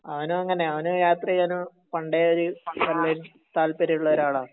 അവനും എങ്ങിനെയാ അവന് യാത്ര ചെയ്യാൻ പണ്ടേ ഒരു താല്പര്യം ഉള്ള ആളാണ്